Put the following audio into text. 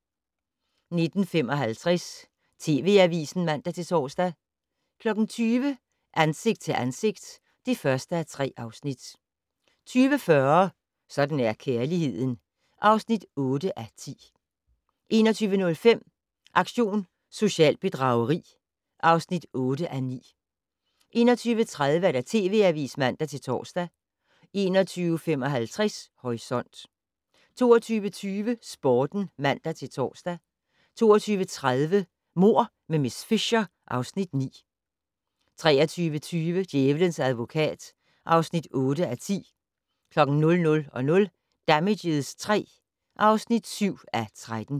19:55: TV Avisen (man-tor) 20:00: Ansigt til ansigt (1:3) 20:40: Sådan er kærligheden (8:10) 21:05: Aktion socialt bedrageri (8:9) 21:30: TV Avisen (man-tor) 21:55: Horisont 22:20: Sporten (man-tor) 22:30: Mord med miss Fisher (Afs. 9) 23:20: Djævelens advokat (8:10) 00:00: Damages III (7:13)